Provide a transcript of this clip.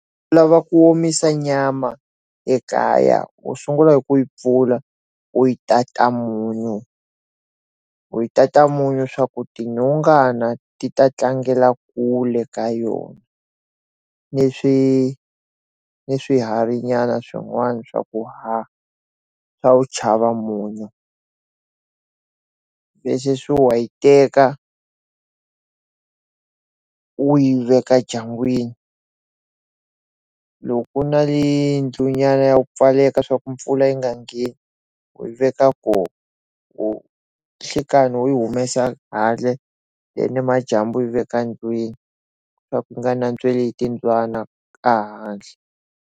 U lava ku omisa nyama ekaya u sungula hi ku yi pfula u yi tata munyu u yi tata munyu swa ku tinonghana ti ta tlangela kule ka yona ni swi ni swihari nyana swin'wana swa ku haha swa u tshava munyu leswi swi wu wayi u yi veka ndyangwini loko u na hi yindlu nyana ya ku pfaleka swa ku mpfula yi nga ngheni u yi veka koho u nhlikani u humesa handle ni majambu yi veka ndlwini swa ku yi nga nantsweli hi timbyana a handle.